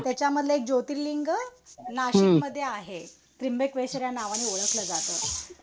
त्याच्यामधलं ज्योतिर्लिंग नाशिकमध्ये आहे. त्र्यम्बकेश्वर या नावाने ओळखलं जात.